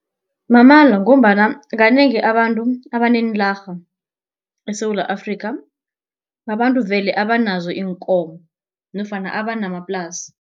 Mamala ngombana kanengi abantu abaneenlarha eSewula Afrikha, babantu vele abanazo iinkomo nofana abanamaplasi.